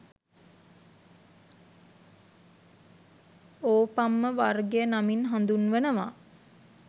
ඕපම්ම වර්ගය නමින් හඳුන්වනවා